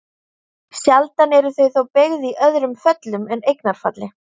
Sjaldan eru þau þó beygð í öðrum föllum en eignarfalli.